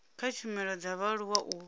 kha tshumelo dza vhaaluwa u